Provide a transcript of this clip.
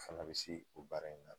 Fana bi se o baara in na